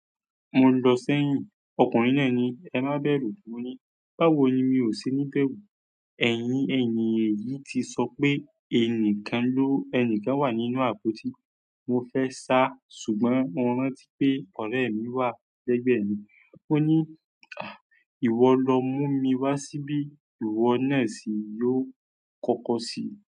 Mo lọ sẹ́yìn ọkùnrin náà ni "ẹ má bẹ̀rù." Mo ní, "Báwo ni mi ò ṣe ní bẹ̀rù?" Ẹ̀yin ènìyàn yìí ti sọ pé ẹnìkan ló, ẹnìkan wà nínú àpótí. Mo fẹ́ sá, àmọ́ mo rántí pé ọ̀rẹ́ mí wà lẹ́gbẹ̀ mi ó ní, "à, ìwọ lọ mú mi wá síbí." Ìwọ náà sì ni ó kọ́kọ́ ṣi.